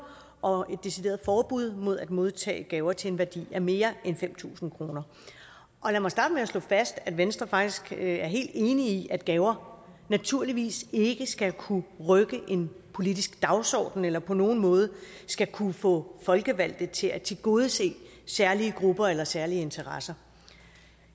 og et decideret forbud mod at modtage gaver til en værdi af mere end fem tusind kroner og lad mig starte med at slå fast at venstre faktisk er helt enig i at gaver naturligvis ikke skal kunne rykke en politisk dagsorden eller på nogen måde skal kunne få folkevalgte til at tilgodese særlige grupper eller særlige interesser